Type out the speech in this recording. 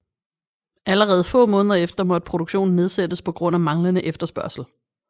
Allerede få måneder efter måtte produktionen nedsættes på grund af manglende efterspørgsel